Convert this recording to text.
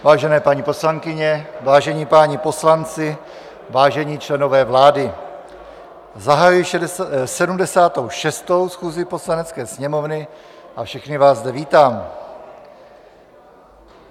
Vážené paní poslankyně, vážení páni poslanci, vážení členové vlády, zahajuji 76. schůzi Poslanecké sněmovny a všechny vás zde vítám.